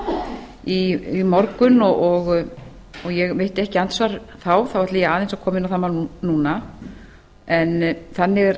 svalbarðadeiluna í morgun og ég veitti ekki andsvar þá ætla ég aðeins að koma inn á það mál núna þannig er